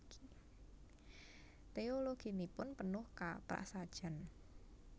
Teologinipun penuh kaprasajan